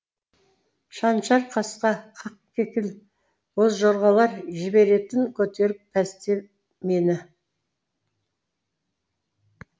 шаншар қасқа ақкекіл бозжорғалар жіберетін көтеріп пәсте мені